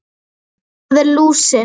Það er lúsin.